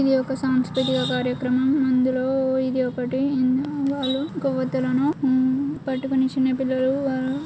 ఇది ఒక సంస్కృతిక కార్యకరం ఇందులో ఇది ఒకటి వాలు కొవ్వత్తులన్నీ పట్టుకొని చిన్నపిల్లలు వాలు --